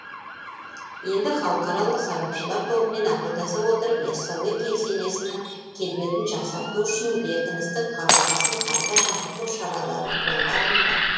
енді халықаралық сарапшылар тобымен ақылдаса отырып яссауи кесенесінің келбетін жақсарту үшін бекіністік қабырғасын қайта жаңғырту шаралары қолға алынбақ